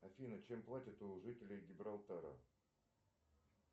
афина чем платят у жителей гибралтара